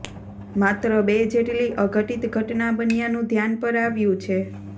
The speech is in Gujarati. માત્ર બે જેટલી અઘટીત ઘટના બન્યાનું ધ્યાન પર આવ્યું છે